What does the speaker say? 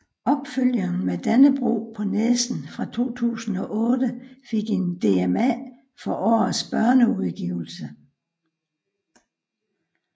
Opfølgeren Med Dannebrog på næsen fra 2008 fik en DMA for årets børneudgivelse